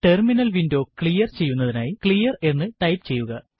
terminal window clear ചെയ്യുന്നതിനായി clear എന്ന് type ചെയ്യുക